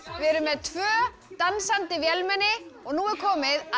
við erum með tvö dansandi vélmenni og nú er komið að